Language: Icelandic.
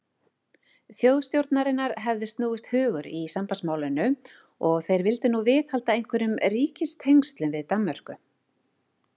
Þjóðstjórnarinnar hefði snúist hugur í sambandsmálinu, og þeir vildu nú viðhalda einhverjum ríkistengslum við Danmörku.